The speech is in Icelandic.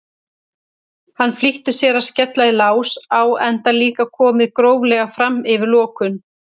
Hann flýtti sér að skella í lás enda líka komið gróflega fram yfir lokun.